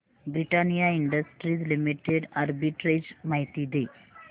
Britannia industries limited arbitrage माहिती दे